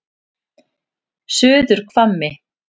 Suðurhvammi